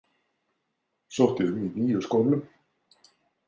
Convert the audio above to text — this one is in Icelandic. Sótti um í níu skólum.